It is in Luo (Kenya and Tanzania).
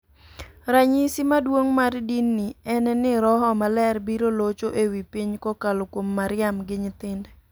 Ranyisi maduong' mar din ni en ni roho maler biro locho e wi piny kokalo kuom Mariam gi nyithinde.